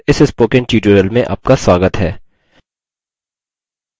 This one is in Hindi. libreoffice base पर इस spoken tutorial में आपका स्वागत है